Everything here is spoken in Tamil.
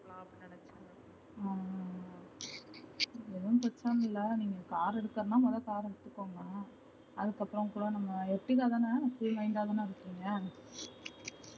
எதுவும் பிரச்சன இல்ல நீங்க car எடுக்குறதுனா மொத car எடுத்துக்கோங்க அதுக்கப்புறம் கூட நம்ம line ல தன இருப்பிங்க